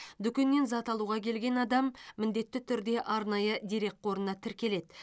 дүкеннен зат алуға келген адам міндетті түрде арнайы дерекқорына тіркеледі